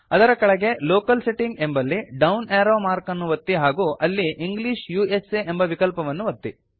ಅದರ ಕೆಳಗೆ locale setting ಎಂಬಲ್ಲಿ ಡೌನ್ ಏರೋ ಮಾರ್ಕ್ ಅನ್ನು ಒತ್ತಿ ಹಾಗೂ ಅಲ್ಲಿ ಇಂಗ್ಲಿಷ್ ಉಸಾ ಎಂಬ ವಿಕಲ್ಪವನ್ನು ಒತ್ತಿ